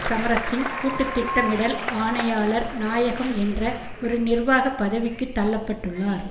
சமரசிங்க கூட்டு திட்டமிடல் ஆனையாளர் நாயகம் என்ற ஒரு நிர்வாக பதவிக்கு தள்ள பட்டுள்ளார்